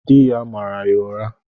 Di ya mara ya ụra.